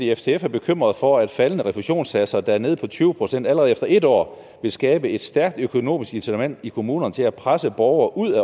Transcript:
ftf er bekymret for at faldende refusionssatser der er nede på tyve procent allerede efter et år vil skabe et stærkt økonomisk incitament i kommunerne til at presse borgere ud